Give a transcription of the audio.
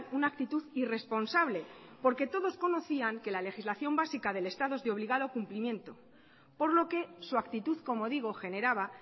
una actitud irresponsable porque todos conocían que la legislación básica del estado es de obligado cumplimiento por lo que su actitud como digo generaba